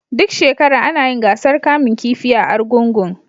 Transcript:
Duk shekara ana yin gasar kamun kifi a Arugungun.